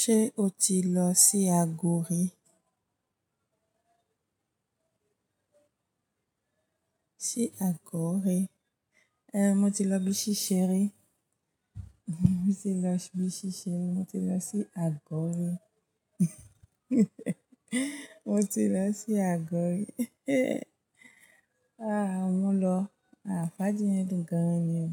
Ṣé o ti lọ sí Ago ri? Sí Aguri. Eh, mo ti lọ bíi ṣẹ́rẹ́. Mo ti lọ bíi sisẹ́ rí, mo ti lọ sí Agọ ri. Mo ti lọ sí Aguri. Ah, mo lọ. À fáji yẹn dun gan ni o.